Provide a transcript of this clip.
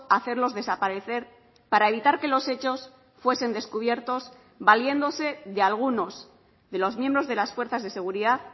hacerlos desaparecer para evitar que los hechos fuesen descubiertos valiéndose de algunos de los miembros de las fuerzas de seguridad